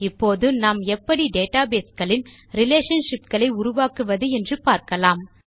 இப்போது நாம் எப்படி டேட்டாபேஸ் களின் ரிலேஷன்ஷிப்ஸ் ஐ உருவாக்குவது என்று பார்க்கலாம்